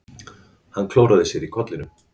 Hann klóraði sér í kollinum.